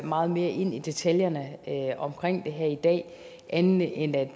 meget mere ind i detaljerne omkring det her i dag andet end at